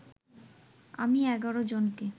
আমি ১১ জনকে